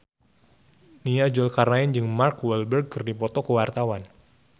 Nia Zulkarnaen jeung Mark Walberg keur dipoto ku wartawan